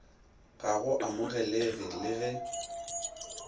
ga go amogelege le ge